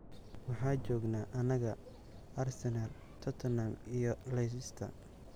Waxaa joognaa annaga, Arsenal, Tottenham iyo Leicester.